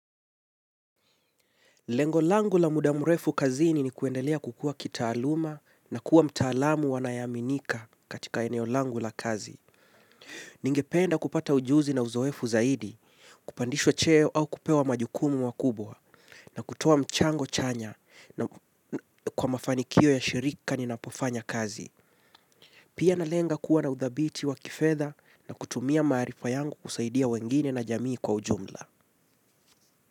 Lengo langu la muda murefu kazini ni kuendelea kukua kitaaluma na kuwa mtaalamu anayaeaminika katika eneo langu la kazi. Ningependa kupata ujuzi na uzoefu zaidi, kupandishwa cheo au kupewa majukumu makubwa na kutoa mchango chanya na kwa mafanikio ya shirika ni napofanya kazi. Pia na lenga kuwa na udhabiti wa kifedha na kutumia maarifa yangu kusaidia wengine na jamii kwa ujumla.